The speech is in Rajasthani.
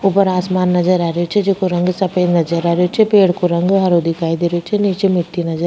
ऊपर आसमान नजर आ रही छे जेको रंग सफ़ेद नजर आ रही छे पेड़ को रंग हरो दिखाई दे रही छे निचे मिट्टी नजर --